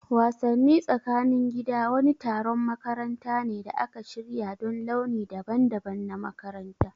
Wassani tsakanin gida wani taron makaranta ne da aka shirya don launi daban-daban na makaranta.